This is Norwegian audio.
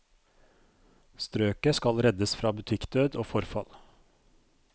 Strøket skal reddes fra butikkdød og forfall.